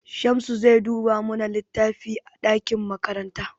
Shamsu zai duba mana littafi a ɗakin karatu.